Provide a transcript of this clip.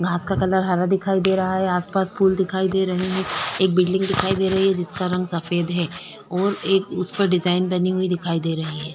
घास का कलर हरा दिखाई दे रहा है आसपास फूल दिखाई दे रहे हैं एक बिल्डिंग दिखाई दे रही है जिसका रंग सफेद है और एक उसपर डिजाइन बनी हुई दिखाई दे रही है।